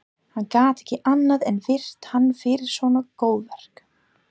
Hann gat ekki annað en virt hann fyrir svona góðverk